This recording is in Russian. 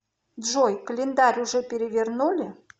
джой календарь уже перевернули